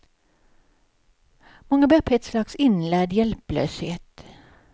Många bär på ett slags inlärd hjälplöshet.